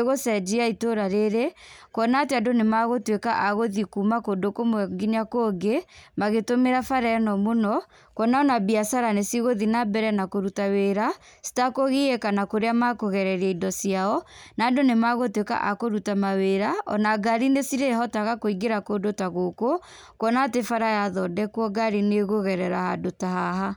ĩgũcenjia itũra rĩrĩ kuona atĩ andũ nĩ magũtuĩka a gũthiĩ kuuma kũndũ kũmwe nginya kũngĩ magĩtũmĩra bara ĩno mũno. Kuona ona biacara nĩ cigũthiĩ nambere na kũrũta wĩra citakũgiĩka na kũrĩa makũgereria indo ciao. Na andũ nĩ magũtuĩka a kũruta wĩra ona ngari nĩcirĩhotaga kũingĩra kũndũ ta gũkũ. Kuona atĩ bara yathondekũo ngari nĩ ĩkũgerera handũ ta haha.